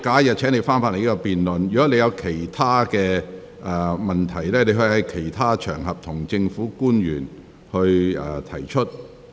若你對此議題有其他問題，可在其他場合向政府官員提出。